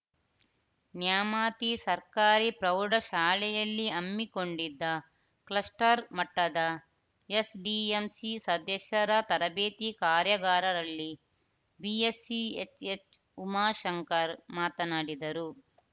ನ್ಯಾಮಾತಿ ಸರ್ಕಾರಿ ಪ್ರೌಢ ಶಾಲೆಯಲ್ಲಿ ಹಮ್ಮಿಕೊಂಡಿದ್ದ ಕ್ಲಸ್ಟರ್‌ ಮಟ್ಟದ ಎಸ್‌ ಡಿ ಎಂ ಸಿ ಸದಸ್ಯರ ತರಬೇತಿ ಕಾರ್ಯಾಗಾರದಲ್ಲಿ ಬಿಯಸ್ ಸಿ ಎಚ್‌ಎಚ್‌ ಉಮಾಶಂಕರ್‌ ಮಾತನಾಡಿದರು